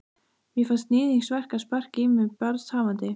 Mér fannst níðingsverk að sparka í mig barnshafandi.